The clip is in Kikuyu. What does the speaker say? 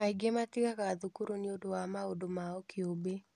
Angĩ matigaga thukuru nĩũndũ wa maũndũ mao kĩũmbe.